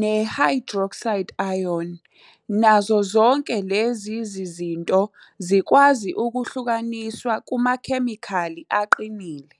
ne-OH-, nazo zonke lezi zinto zikwazi ukuhlukaniswa kumakhemikhali aqinile.